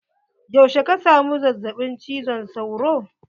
Yaushe ka samu zazzaɓin cizon sauro?